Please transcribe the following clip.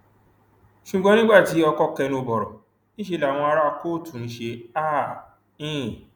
ṣùgbọn nígbà tí ọkọ kẹnu bọrọ níṣẹ làwọn ará kóòtù ń ṣe háà hìnín